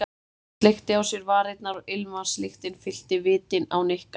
Hún sleikti á sér varirnar og ilmvatnslyktin fyllti vitin á Nikka.